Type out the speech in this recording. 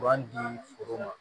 B'an di foro ma